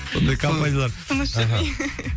ондай компаниялар тыныш жүрмей